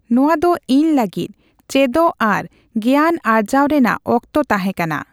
ᱱᱚᱣᱟ ᱫᱚ ᱤᱧ ᱞᱟᱹᱜᱤᱫ ᱪᱮᱫᱚᱜ ᱟᱨ ᱜᱮᱭᱟᱱ ᱟᱨᱡᱟᱣ ᱨᱮᱱᱟᱜ ᱚᱠᱛᱚ ᱛᱟᱦᱮ ᱠᱟᱱᱟ ᱾